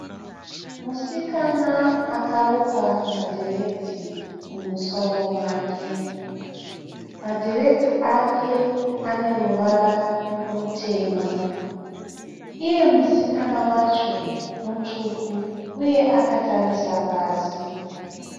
Musikana akarukwa madhiredzi mumusoro make. Madhiredzi ake ane ruvara rutema. Iye musikana wacho mutsvuku uye akatarisa pasi.